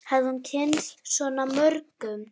Hafði hún kynnst svona mörgum?